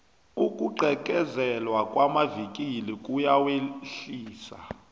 ukugqekezelwa kwamavikili kuyawehlisa